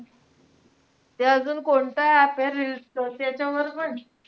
ते अजून कोणतं app हे reels च?